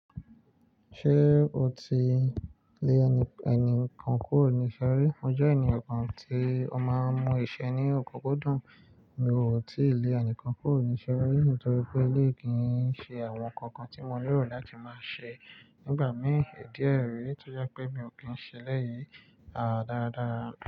Ṣé o ti lé ẹni kan kúrò ní ìṣerí? Mo jẹ́ ènìyàn kan tí ó máa ń mú iṣẹ́ ní ọ̀kúnkúndún, mo ò tí ì lé ẹnìkan kúrò ní ìṣeré nítorí pé elé yìí kì í ṣe àwọn ǹkan kan tí mo nílò láti máa ṣe nígbà mìíràn. I diẹ́ rẹ̀ tí ó jẹ́ pé mi ò kí ń ṣe lẹ́yìn. Àá, dáradára.